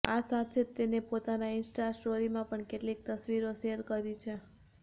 આ સાથે જ તેને પોતાના ઇન્સ્ટા સ્ટોરીમાં પણ કેટલીક તસ્વીરો શેર કરી છે